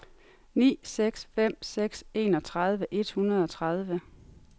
ni seks fem seks enogtredive et hundrede og tredive